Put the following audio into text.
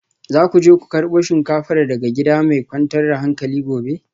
Za ku je ku karbo shinkafar daga gida mai kwantar da hankali gobe